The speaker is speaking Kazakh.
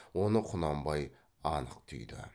оны құнанбай анық түйді